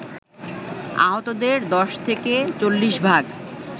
আহতদের ১০ থেকে ৪০ ভাগ